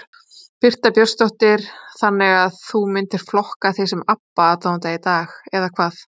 Birta Björnsdóttir: Þannig að þú myndir flokka þig sem Abba aðdáanda í dag eða hvað?